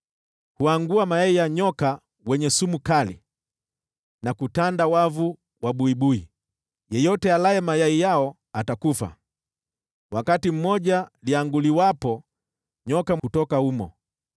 Huangua mayai ya nyoka wenye sumu kali na kutanda wavu wa buibui. Yeyote alaye mayai yao atakufa, na wakati moja lianguliwapo, nyoka hutoka humo.